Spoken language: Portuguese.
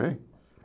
Hein?